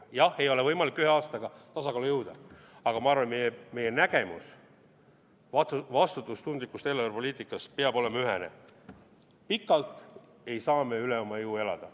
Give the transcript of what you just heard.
Jah, ei ole võimalik ühe aastaga tasakaalu jõuda, aga ma arvan, et meie nägemus vastutustundlikust eelarvepoliitikast peab olema ühene: pikalt ei saa me üle oma jõu elada.